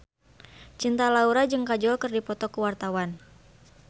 Cinta Laura jeung Kajol keur dipoto ku wartawan